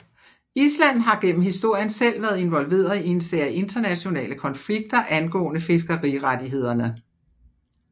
Island har gennem historien selv været involveret i en serie internationale konflikter angående fiskerirettighederne